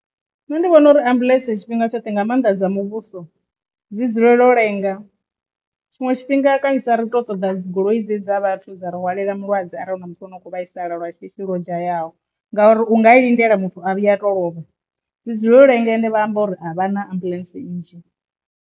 Nṋe ndi vhona uri ambuḽentse tshifhinga tshoṱhe nga maanḓa dza muvhuso dzi dzulela u lenga tshiṅwe tshifhinga kanzhisa ri to ṱoḓa dzigoloi dze dza vhathu dza ri hwalela mulwadze arali hu na muthu ane u kho vhaisala lwa shishi lwo dzhayaho, ngauri unga lindela muthu a vhuya a to lovha dzi dzulele u lenga ende vha amba uri avhana ambuḽentse nnzhi.